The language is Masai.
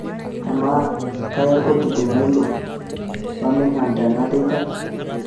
amaa kaya olkoti tenalo Birmingham tena teipa